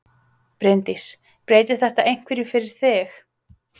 Bryndís: Breytir þetta einhverju fyrir þig?